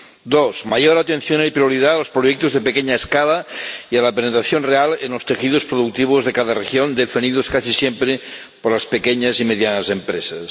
Dos mayor atención y prioridad a los proyectos de pequeña escala y a la penetración real en los tejidos productivos de cada región, definidos casi siempre por las pequeñas y medianas empresas.